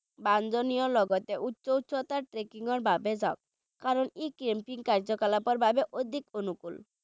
বাঞ্ছনীয় লগতে উচ্চ উচ্চতাৰ trekking ৰ বাবে যাওক কাৰণ ই camping কাৰ্য্য-কলাপৰ বাবে অধিক অনুকূল।